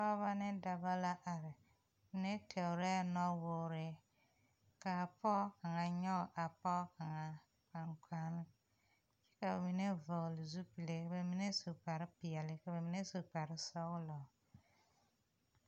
Pɔgeba ne dɔba la are, mine tɔɔre nowɔɔre, kaa pɔge kaŋa nyɔge a pɔge kaŋa gbangbane ka ba mine vɔgeli zupilie ka ba mine su kpare pɛɛle ka ba mine su kpare sɔglɔ.